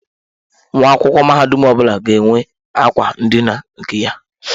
Nwa akwụkwọ mahadum ọbụla ga-enwe akwa ndina nke ya.